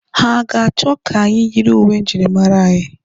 Ha a ga-achọ ka anyị yiri uwe njirimara anyị?